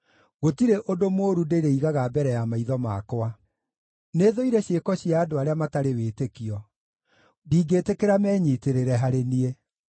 Gũtirĩ ũndũ mũũru ndĩrĩigaga mbere ya maitho makwa. Nĩthũire ciĩko cia andũ arĩa matarĩ wĩtĩkio; ndingĩĩtĩkĩra menyiitĩrĩre harĩ niĩ.